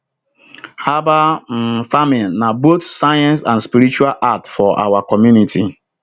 herbal um farming na both science and spiritual art for our community